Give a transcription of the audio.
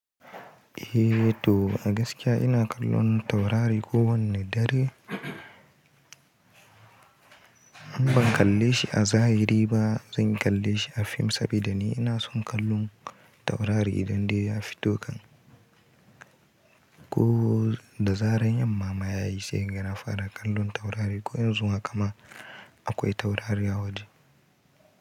Eh to a gaskiya ina kallon taurareko wanne dare. In ban kalle shi a zahiri ba, zan kalle shi a fim saboda ni ina son kallon taurare idan dai ya fito kan. Ko da zarar yamma ma ya yi sai kaga na fara kallon taurare ko yanzu haka ma akwai taurari a waje.